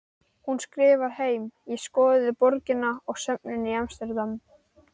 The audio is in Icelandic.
Hún skrifar heim: Ég skoðaði borgina og söfnin í Amsterdam.